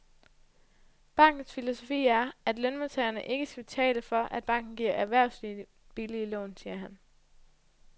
Bankens filosofi er, at lønmodtagerne ikke skal betale for, at banken giver erhvervslivet billige lån, siger han.